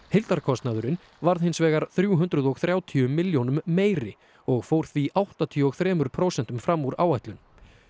heildarkostnaðurinn varð hins vegar þrjú hundruð og þrjátíu milljónum meiri og fór því áttatíu og þrjú prósent fram úr áætlun